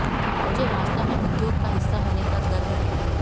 मुझे वास्तव में उद्योग का हिस्सा होने पर गर्व है